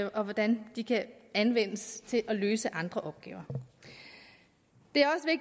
og hvordan vi kan anvendes til at løse andre opgaver